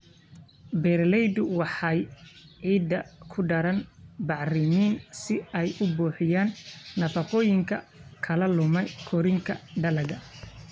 Beeraleydu waxay ciidda ku daraan bacrimin si ay u buuxiyaan nafaqooyinka ka lumay korriinka dalagga.